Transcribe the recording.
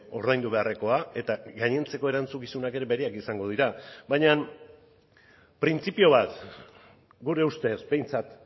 ordaindu beharrekoa eta gainontzeko erantzukizunak ere bereak izango dira baina printzipio bat gure ustez behintzat